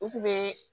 U kun bɛ